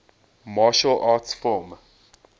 martial arts film